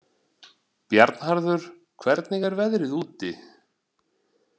Bjarnharður, hvernig er veðrið úti?